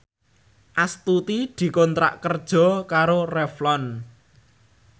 Astuti dikontrak kerja karo Revlon